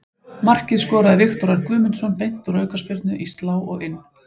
Markið skoraði Viktor Örn Guðmundsson beint úr aukaspyrnu, í slá og inn.